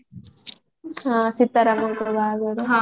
ହଁ ସିତା ରାମ ଗୋଟେ ବାହାଘର